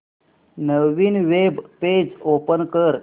नवीन web page open कर